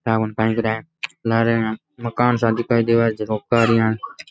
मकान सा दिखाई देव --